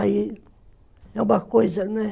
Aí é uma coisa, né?